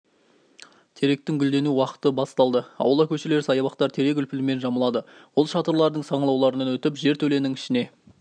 теректің гүлдену уақыты басталды аула көшелер саябақтар терек үлпілімен жамылады ол шатырлардың саңылауларынан өтіп жертөленің ішіне